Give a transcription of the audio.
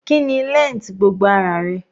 Kíni length gbogbo ara rẹ?